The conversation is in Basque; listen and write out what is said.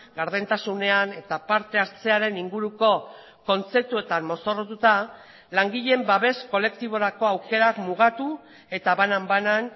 gardentasunean eta parte hartzearen inguruko kontzeptuetan mozorrotuta langileen babes kolektiborako aukerak mugatu eta banan banan